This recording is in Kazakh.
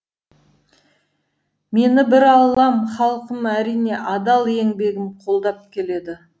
мені бір аллам халқым әрине адал еңбегім қолдап келеді